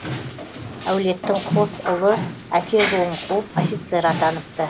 әулеттің қос ұлы әке жолын қуып офицер атаныпты